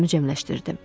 Özümü cəmləşdirdim.